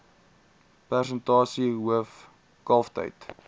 persentasie hoof kalftyd